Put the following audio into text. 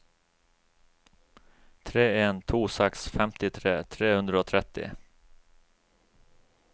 tre en to seks femtitre tre hundre og tretti